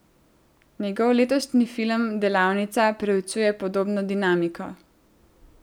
Njegov letošnji film Delavnica preučuje podobno dinamiko.